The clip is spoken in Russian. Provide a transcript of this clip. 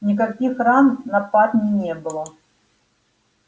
никаких ран на парне не было